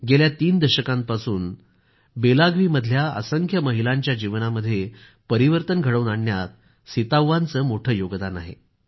गेल्या तीन दशकांपासून बेलागवीमधल्या असंख्य महिलांच्या जीवनामध्ये परिवर्तन घडवून आणण्यात सीताव्वाचे मोठे योगदान आहे